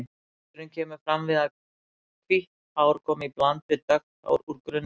Liturinn kemur fram við að hvít hár koma í bland við dökk hár úr grunnlit.